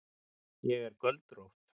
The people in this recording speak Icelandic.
Ég er göldrótt.